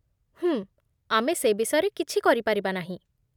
ହୁଁ, ଆମେ ସେ ବିଷୟରେ କିଛି କରିପାରିବା ନାହିଁ